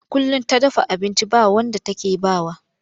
Kullum ta dafa abinci ba wanda take ba wa.